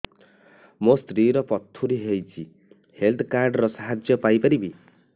ମୋ ସ୍ତ୍ରୀ ର ପଥୁରୀ ହେଇଚି ହେଲ୍ଥ କାର୍ଡ ର ସାହାଯ୍ୟ ପାଇପାରିବି